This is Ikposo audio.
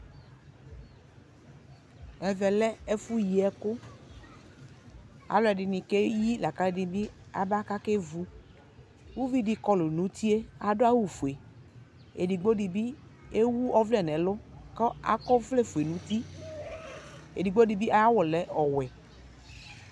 Ɛvɛ lɛ ɛfʋyiɛkʋ: alʋɛdɩnɩ keyi lakalʋɛdɩnɩ bɩ aba kakevu Uvidɩ kɔlʋ n'utie, adʋ awʋfue , edigbodɩ bɩ ewu ɔvlɛ n'ɛlʋ kɔ akɔvlɛfue n'uti ; edigbodɩ bɩ ay'awʋ lɛ ɔwɛ